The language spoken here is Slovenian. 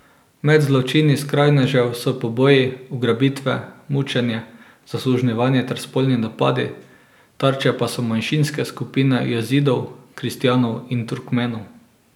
Med zločini skrajnežev so poboji, ugrabitve, mučenje, zasužnjevanje ter spolni napadi, tarče pa so manjšinske skupine jazidov, kristjanov in Turkmenov.